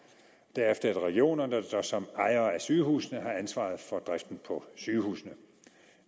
derefter er det regionerne der som ejere af sygehusene har ansvaret for driften på sygehusene